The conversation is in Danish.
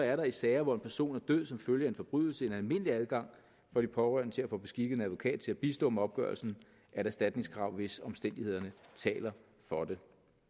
er der i sager hvor en person er død som følge af en forbrydelse en almindelig adgang for de pårørende til at få beskikket en advokat til at bistå med opgørelsen af et erstatningskrav hvis omstændighederne taler for det